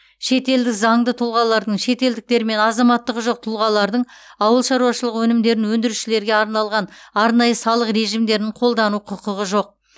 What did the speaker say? шетелдік заңды тұлғалардың шетелдіктер мен азаматтығы жоқ тұлғалардың ауыл шаруашылығы өнімдерін өндірушілерге арналған арнайы салық режимдерін қолдану құқығы жоқ